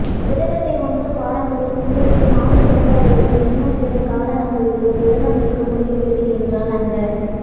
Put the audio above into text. விரதத்தை ஒன்பது வாரங்களில் பெண்களுக்கு மாத விலக்கு அல்லது இன்ன பிற காரணங்களாலோ விரதம் இருக்க முடியவில்லை என்றால் அந்த